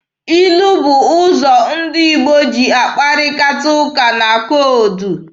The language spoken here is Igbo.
Ilu bụ ụzọ ndị Igbo ji akparịta ụka na koodu.